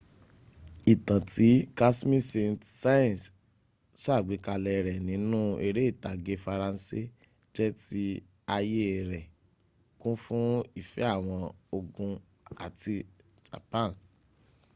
ìtàn tí casmille saint--saens ṣàgbékalè rẹ nínú eré ìtàgé faransé jẹ tí ayé rè kún fún ìfẹ́ àwọn ògùn àti japan